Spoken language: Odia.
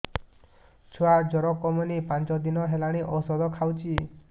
ଛୁଆ ଜର କମୁନି ପାଞ୍ଚ ଦିନ ହେଲାଣି ଔଷଧ ଖାଉଛି